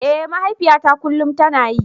Eh mahaifiyata kullum tana yi.